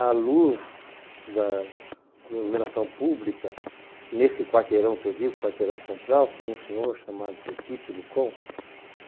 A luz da iluminação pública, nesse quarteirão que eu digo, quarteirão central, tinha um senhor chamado senhor Tite Lucon.